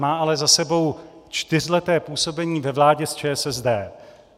Má ale za sebou čtyřleté působení ve vládě s ČSSD.